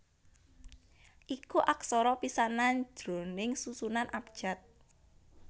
iku aksara pisanan jroning susunan abjad